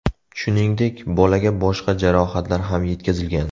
Shuningdek, bolaga boshqa jarohatlar ham yetkazilgan.